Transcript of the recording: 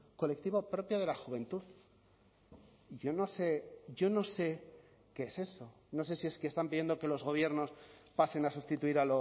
colectivo propio de la juventud yo no sé yo no sé qué es eso no sé si es que están pidiendo que los gobiernos pasen a sustituir